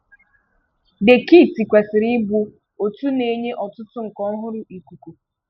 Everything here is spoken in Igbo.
The kit kwesị̀kwara ịbụ otu na-enye ọtụtụ nke ọhúrụ́ ikuku.